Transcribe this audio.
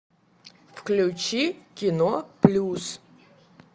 включи кино плюс